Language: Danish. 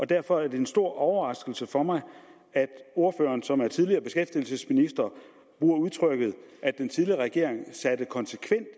derfor er det en stor overraskelse for mig at ordføreren som er tidligere beskæftigelsesminister bruger udtrykket at den tidligere regering satte konsekvent